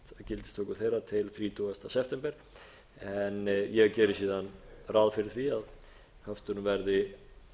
þeirra til þrítugasta september en ég geri síðan ráð fyrir því að höftunum verði